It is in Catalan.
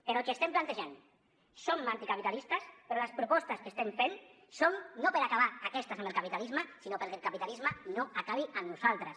però el que estem plantejant som anticapitalistes però les propostes que estem fent són no per acabar aquestes amb el capitalisme sinó perquè el capitalisme no acabi amb nosaltres